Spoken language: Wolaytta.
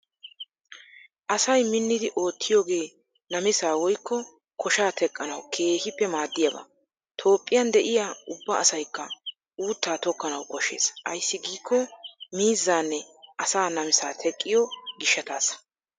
Asay minnidi oottiyoogee namisaa woykko koshaa teqqanawu keehippe maaddiyaaba. Toophphiyan de"iyaa ubba asaykka uuttaa tokkanawu koshshees, ayssi giikko miizzaanne asaa namisaa teqqiyo gishshataasssa.